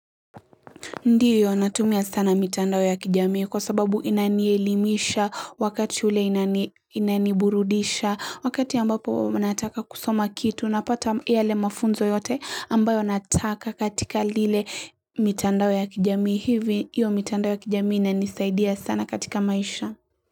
Ndiyo, natumia sana mitandao ya kijamii kwa sababu inanielimisha wakati ule inaniburudisha, wakati ambapo wanataka kusoma kitu, napata yale mafunzo yote ambayo anataka katika lile mitandao ya kijamii hivi hiyo mitandao ya kijami inanisaidia sana katika maisha.